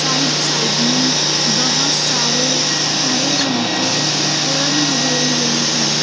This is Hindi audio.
राइट साइड में बहोत सारे हरे रंग के पेड़ लगे हुए हैं।